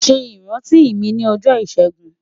Ṣe iranti mi ni ọjọ Ishegun